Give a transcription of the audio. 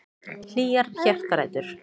Hlýjar hjartarætur.